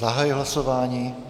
Zahajuji hlasování.